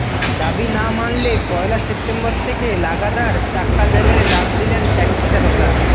দাবি না মানলে পয়লা সেপ্টেম্বর থেকে লাগাতার চাক্কাজ্যামের ডাক দিলেন ট্যাক্সিচালকরা